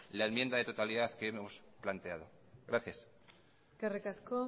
la enmienda de totalidad que hemos planteado gracias eskerrik asko